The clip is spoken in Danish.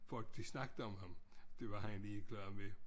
Folk de snakkede om ham det var han ligeglad med